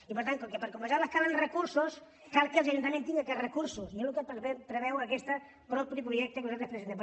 i per tant com que per compensar la calen recursos cal que els ajuntaments tinguin aquests recursos i és el que preveu aquest projecte que nosaltres presentem